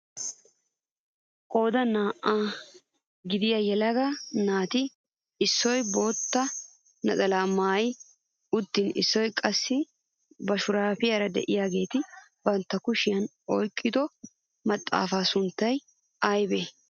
Qoodan naa"aa gidiyaa yelaga naati issoy bootta naxalaa maayi uttin issoy qassi ba shuraabiyaara de'iyaageti bantta kushiyaan oyqqido maxaafaa sunttay aybee?